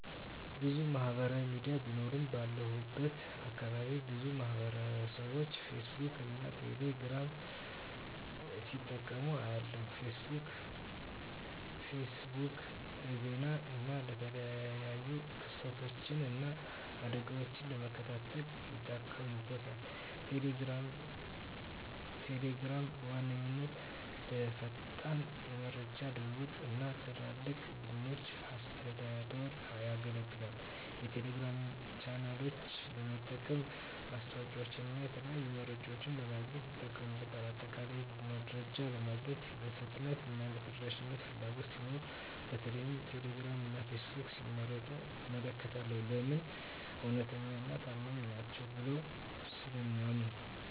**ብዙ ማህበራዊ ሚዲያ ቢኖሩም፦ ባለሁበት አካባቢ ብዙ ማህበረሰብቦች ፌስቡክን እና ቴሌ ግራምን ሲጠቀሙ አያለሁ፤ * ፌስቡክ: ፌስቡክ ለዜና እና የተለያዩ ክስተቶችን እና አደጋወችን ለመከታተል ይጠቀሙበታል። * ቴሌግራም: ቴሌግራም በዋነኛነት ለፈጣን የመረጃ ልውውጥ እና ለትላልቅ ቡድኖች አስተዳደር ያገለግላል። የቴሌግራም ቻናሎችን በመጠቀም ማስታወቂያወችንና የተለያዩ መረጃዎችን ለማግኘት ይጠቀሙበታል። በአጠቃላይ፣ መረጃ ለማግኘት የፍጥነትና የተደራሽነት ፍላጎት ሲኖር በተለይም ቴሌግራም እና ፌስቡክን ሲመርጡ እመለከታለሁ። *ለምን? እውነተኛና ታማኝ ናቸው ብለው ስለሚያምኑ።